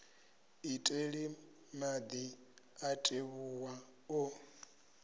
iteli madi a tevhuwa o